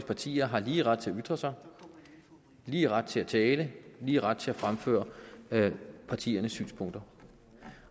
partier har lige ret til at ytre sig lige ret til at tale lige ret til at fremføre partiernes synspunkter